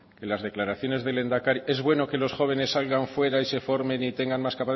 que las declaraciones del lehendakari es bueno que los jóvenes salgan fuera y se formen y tengan más